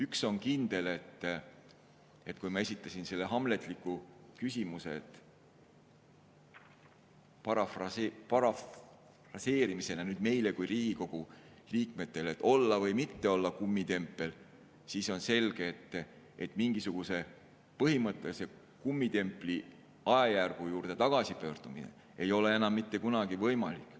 Üks on kindel, kui ma esitasin selle hamletliku küsimuse parafraasina meile kui Riigikogu liikmetele, et olla või mitte olla kummitempel, siis on selge, et mingisuguse põhimõttelise kummitempli ajajärgu juurde tagasipöördumine ei ole enam mitte kunagi võimalik.